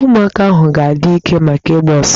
Ụmụaka ahụ ha adị ike maka ịgba ọso?